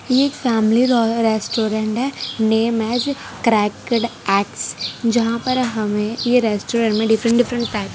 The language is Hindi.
ये एक फैमिली रॉय रेस्टोरेंट है नेम ऐज क्रैक्ड एग्स जहां पर हमें ये रेस्टोरेंट में डिफरेंट डिफरेंट टाइप्स --